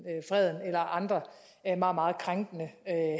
og freden eller andre meget meget krænkende